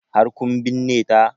Har kun binne ta?